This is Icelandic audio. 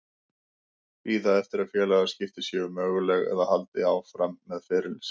Bíða eftir að félagaskipti séu möguleg eða halda áfram með ferilinn minn?